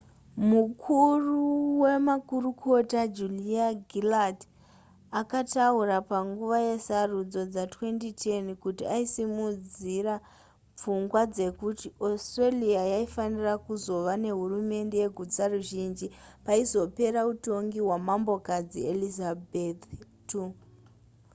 mukuru wemakurukota julia gillard akataura panguva yesarudzo dza2010 kuti aisimudzira pfungwa dzekuti australia yaifanira kuzova nehurumende yegutsaruzhinji paizopera utongi hwamambokadzi elizabeth ii